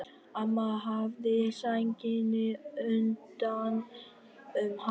Amma vafði sænginni utan um hana.